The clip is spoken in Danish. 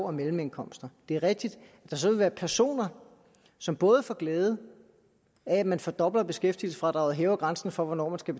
og mellemindkomster det er rigtigt at der så vil være personer som både får glæde af at man fordobler beskæftigelsesfradraget og hæver grænsen for hvornår der skal